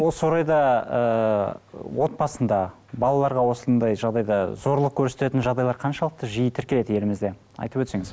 осы орайда ыыы отбасында балаларға осындай жағдайда зорлық көрсететін жағдайлар қаншалықты жиі тіркеледі елімізде айтып өтсеңіз